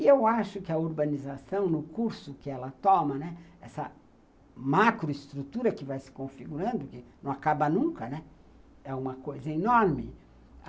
E eu acho que a urbanização, no curso que ela toma, né, essa macroestrutura que vai se configurando, que não acaba nunca, né, é uma coisa enorme.